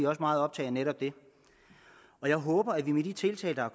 også meget optaget af det og jeg håber at vi med de tiltag der er